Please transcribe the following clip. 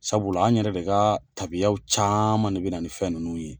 Sabula an yɛrɛ de ka tabiyaw caaman de be na nin fɛn nunnu ye